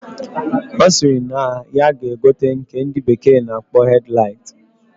Osiri na ya ga egote nke ndi bekee na akpo headlight.